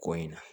Ko in na